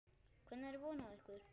Hvenær er von á ykkur?